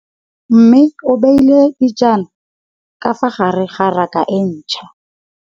Mmê o beile dijana ka fa gare ga raka e ntšha.